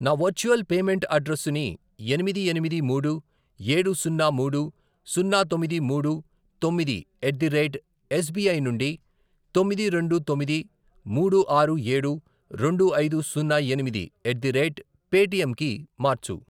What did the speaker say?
నా virtual payment అడ్రెస్సుని ఎనిమిది, ఎనిమిది, మూడు, ఏడు, సున్నా, మూడు, సున్నా, తొమ్మిది, మూడు, తొమ్మిది, ఎట్ ది రేట్ ఎస్బిఐ నుండి తొమ్మిది, రెండు, తొమ్మిది, మూడు, ఆరు, ఏడు, రెండు, ఐదు, సున్నా, ఎనిమిది, ఎట్ ది రేట్ పేటిఎమ్ కి మార్చు.